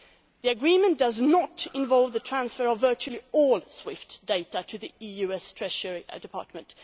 The agreement does not involve the transfer of virtually all SWIFT data to the US Treasury Department.